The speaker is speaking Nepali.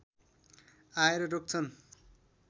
आएर रोक्छन्